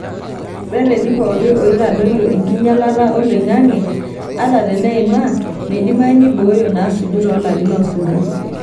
Reteni pooki oitadoyio enkinyialata oloing'ang'e, ata teneima, meidimayu neibooyo naasuju toolarin oosuju.